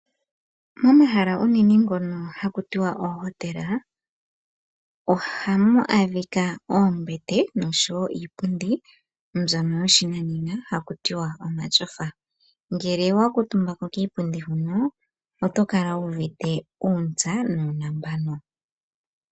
Momahala unene ngono haku tiwa oohotela ohamu adhika oombete nosho wo iipundi mbyono yoshinanena haku tiwa omatyofa. Ngele owa kuutumba ko kiipundi huno, oto kala wu uvite uuntsa nuunambano.